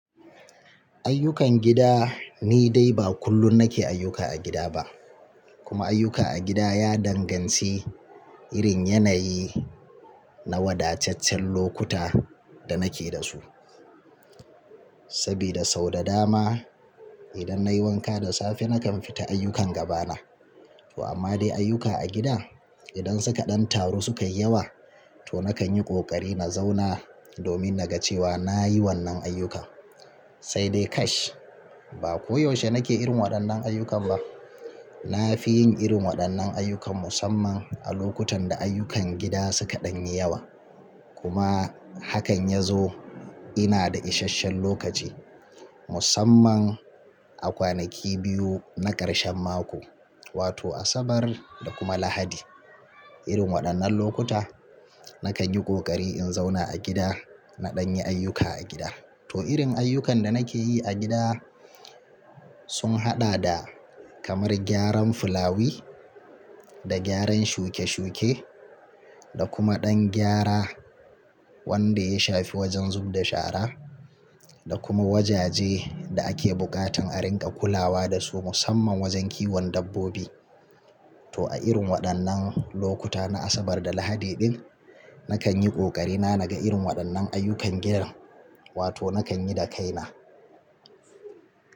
Ayyukan gida ni dai ba kullum nake ayyuka a gida ba, kuma ayyuka a gida ya danganci irin yanayi na wadataccen lokuta da nake da su. Sabida sau da dama idan nayi wanka da safe nakan fita ayyukan gaba na. To amma dai ayyuka a gida idan suka ɗan taru suka yi yawa to na kan yi ƙoƙari na zauna domin na ga cewa nayi wannan ayyukan. Sai dai kash, ba ko yaushe na ke irin waɗannan ayyukan ba. Na fi yin irin waɗannan ayyukan musamman a lokutan da ayyukan gida suka ɗan yi yawa. Kuma hakan ya zo ina da ishasshen lokaci musamman a kwanaki biyu na ƙarshen mako, wato Asabar da kuma Lahadi. Irin waɗannan lokuta nakan yi ƙoƙari in zauna a gida na ɗan yi ayyuka a gida. To irin ayyukan da nake yi a gida sun haɗa da kamar gyaran fulawi da gyaran shuke shuke da kuma ɗan gyara wanda ya shafi wajen zub da shara da kuma wajaje da ake buƙatan a ringa kulawa da su musamman wajen kiwon dabbobi. To a irin waɗannan lokuta na Asabar da Lahadi din nakan yi ƙoƙari na na ga irin waɗannan ayyukan gidan wato nakan yi da kaina.